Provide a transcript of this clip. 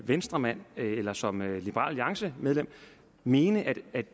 venstremand eller som liberal alliance medlem mene at